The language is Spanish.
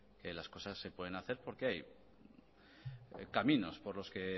que las cosas se pueden hacer porque hay caminos por los que